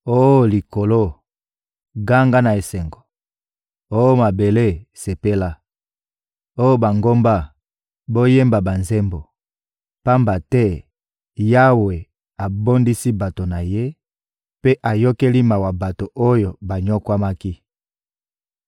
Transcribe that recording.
Oh likolo, ganga na esengo! Oh mabele, sepela! Oh bangomba, boyemba banzembo! Pamba te Yawe abondisi bato na Ye mpe ayokeli mawa bato oyo banyokwamaki.